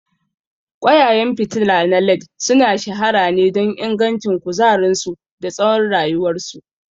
Ƙwayayen fitila na LED sun shahara ne don ingancin kuzarinsu da tsawon rayuwarsu.